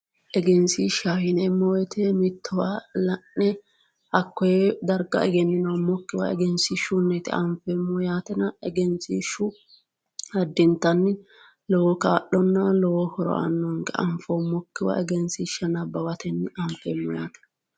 Egenshishshaho yineemmo woyte mittowa la'ne hakkoe darga egeninoommokkiwa egenshiishshuniti anfeemmohu yaatenna egenshishshu addintanni lowo kaa'lonna lowo horo aanonke, anfoommokkiwa egenshishsha nabbawateni anfeemmo yaate.